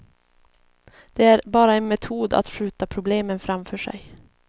Det är bara en metod att skjuta problemen framför sig.